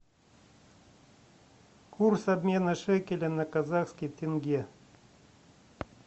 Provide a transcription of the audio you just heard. курс обмена шекеля на казахский тенге